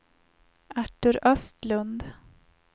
Artur Östlund